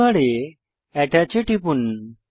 টুলবারে আত্তাচ এ টিপুন